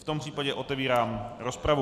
V tom případě otevírám rozpravu.